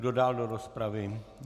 Kdo dál do rozpravy?